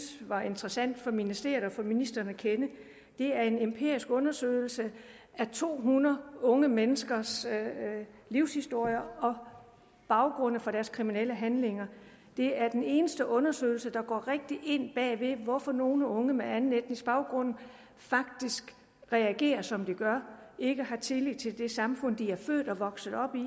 var interessant for ministeriet og for ministeren at kende det er en empirisk undersøgelse af to hundrede unge menneskers livshistorier og baggrunde for deres kriminelle handlinger det er den eneste undersøgelse der går rigtig ind bag ved hvorfor nogle unge med anden etnisk baggrund faktisk reagerer som de gør og ikke har tillid til det samfund de er født og vokset op i